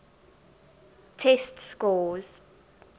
test scores